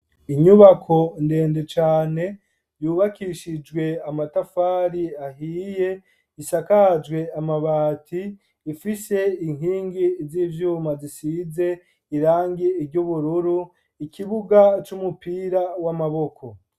Inyubako ndende cane yubakishijwe amatafari ahiye, isakajwe amabati ifise inkingi z'ivyuma zisize irangi ry'ubururu, ikibuga c'umupira w'amaboko.